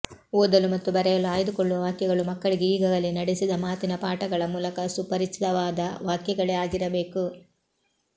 ಓದಲು ಮತ್ತು ಬರೆಯಲು ಆಯ್ದುಕೊಳ್ಳುವ ವಾಕ್ಯಗಳು ಮಕ್ಕಳಿಗೆ ಈಗಾಗಲೇ ನಡೆಸಿದ ಮಾತಿನ ಪಾಠಗಳ ಮೂಲಕ ಸುಪರಿಚಿತವಾದ ವಾಕ್ಯಗಳೇ ಆಗಿರಬೇಕು